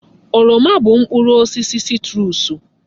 Oroma bụ mkpụrụ osisi sitruusu.